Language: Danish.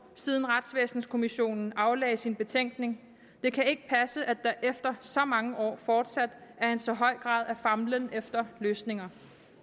siden retsvæsenskommissionen afgav sin betænkning det kan ikke passe at der efter så mange år fortsat er en så høj grad af famlen efter løsninger